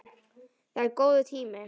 Það er góður tími.